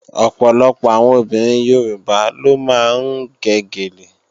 Ọ̀pọ̀lọpọ̀ àwọn obìnrin Yorùbá ló máa ń gẹ gèlè